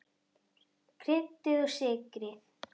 Kryddið og sykrið.